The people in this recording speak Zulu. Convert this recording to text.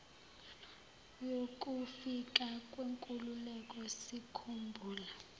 yokufika kwenkululeko sikhumbula